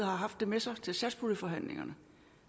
har haft det med sig til satspuljeforhandlingerne